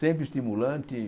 Sempre estimulante.